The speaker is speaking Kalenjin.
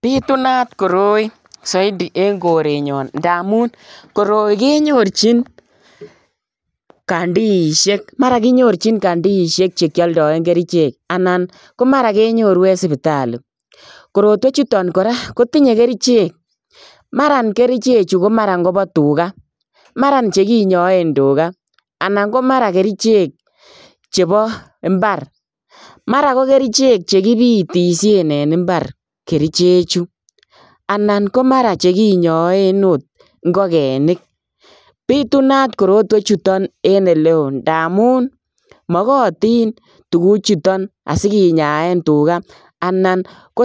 Bitunat koroi Zaidi en korenyaan ndamuun koroi kenyorjiini canteenisheek mara kenyoorjiin canteenisheek che kiadaen kercheek anan ko mara kenyoruu en sipitalishek korotwech chutoon kora kotinyei kercheek, maraan kercheek chiu ko mara chekinyaen tugaah anan ko mara ko kercheek chebo mbaar mara ko kercheek chekibitisheen en mbar kercheek chuu anan ko mara chekinyaen akoot ingogenik bitunat korotwech chuu chutoon en eleo ndamuun magatiin , tuguuk chutoon asikinyaen tugaah anan ko